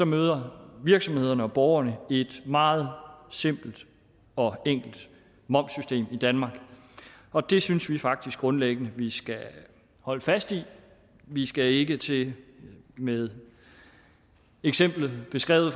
møder virksomhederne og borgerne et meget simpelt og enkelt momssystem i danmark og det synes vi faktisk grundlæggende vi skal holde fast i vi skal ikke til med eksemplet beskrevet